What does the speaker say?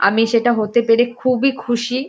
আমি সেটা হতে পেরে খুবই খুশি।